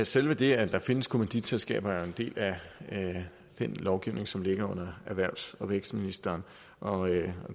selve det at der findes kommanditselskaber er jo en del af den lovgivning som ligger under erhvervs og vækstministeren og